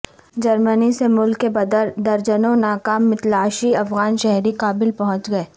جرمنی سے ملک بدر درجنوں ناکام متلاشی افغان شہری کابل پہنچ گئے